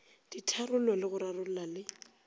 ditharollo le go rarolla le